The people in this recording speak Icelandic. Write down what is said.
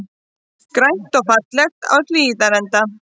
Grænt og fallegt á Hlíðarenda